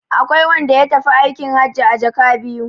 Akwai wanda ya tafi aikin hajji a jaka biyu.